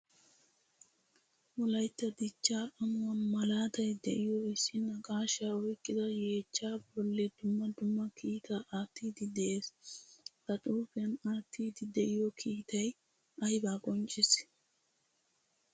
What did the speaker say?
Wolaytta dichcha amuwaa malaatay deiyo issi naaqashsha oyqqida yeecha bolli dumma dumma kiita attidi de'ees. Ha xuufiyan attidi deiyo kiitay ayba qonccisi?